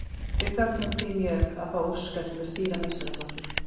Við fögnum því mjög að fá Óskar til að stýra meistaraflokki.